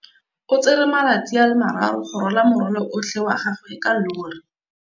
O tsere malatsi a le marraro go rwala morwalo otlhe wa gagwe ka llori.